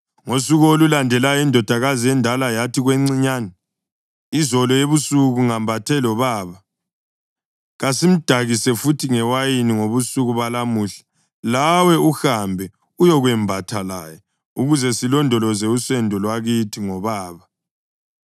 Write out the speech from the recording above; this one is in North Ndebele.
Ngosuku olulandelayo indodakazi endala yathi kwencinyane, “Izolo ebusuku ngembathe lobaba. Kasimdakise futhi ngewayini ngobusuku balamuhla lawe uhambe uyokwembatha laye ukuze silondoloze usendo lwakithi ngobaba.”